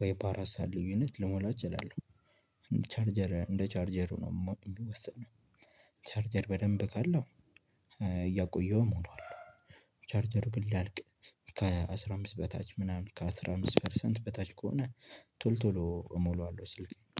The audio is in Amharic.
ወይ በአራት ሰዓት ልዩነት ልሞላ እችላለሁ። ቻርጀር እንደ ቻርጀሩ ነው እሚወሰነው ቻርጀር በደንብ ካለው እያቆየሁ እሞላዋለሁ። ቻርጀር ግን ሊያልቅ ከአስራ አምስት በታች ምናምን ከአስራ አምስት ፐርሰንት በታች ከሆነ ቶሎ ቶሎ እሞላዋለሁ። ስልኬን